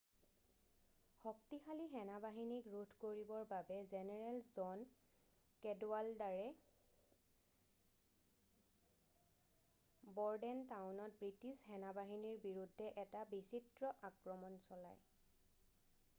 শক্তিশালী সেনাবাহনীক ৰোধ কৰিবৰ বাবে জেনেৰেল জন কেডৱাল্ডাৰে ব'ৰডেনটাউনত বৃষ্টিছ সেনা-বাহিনীৰ বিৰুদ্ধে এটা বিচিত্ৰ আক্ৰমণ চলায়